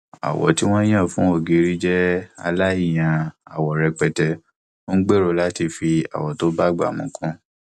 àwọ tí wọn yàn fún ògiri jẹ aláìyan àwọ rẹpẹtẹ ń gbèrò láti fi àwọ tó bá ìgbà mu kún